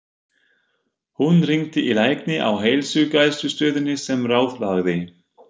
Hún hringdi í lækni á heilsugæslustöðinni sem ráðlagði